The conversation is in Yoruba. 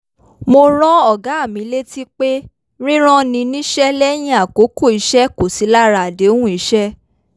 mo rán ọ̀gá mi létí pé rírán ni níṣẹ́ lẹ́yìn àkókò iṣẹ́ kò sí lára àdéhùn iṣẹ́